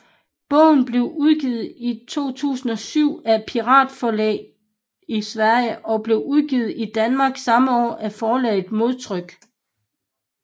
Bogen blev udgivet i 2007 af Piratforlaget i Sverige og blev udgivet i Danmark samme år af forlaget Modtryk